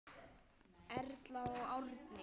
Erla og Árni.